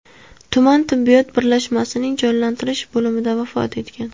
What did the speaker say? tuman tibbiyot birlashmasining jonlantirish bo‘limida vafot etgan.